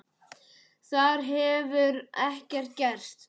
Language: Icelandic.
Þar hefur ekkert gerst.